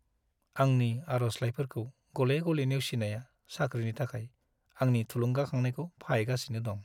आंनि आर'जलाइफोरखौ गले-गले नेवसिनाया साख्रिनि थाखाय आंनि थुलुंगाखांनायखौ फाहायगासिनो दं।